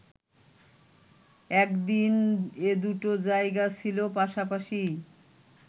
একদিন এদুটো জায়গা ছিল পাশাপাশিই!